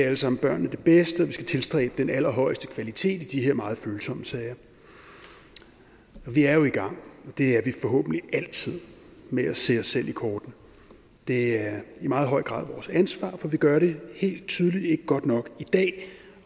alle sammen børnene det bedste og vi skal tilstræbe den allerhøjeste kvalitet i de her meget følsomme sager vi er jo i gang og det er vi forhåbentlig altid med at se os selv i kortene det er i meget høj grad vores ansvar for vi gør det helt tydeligt ikke godt nok i dag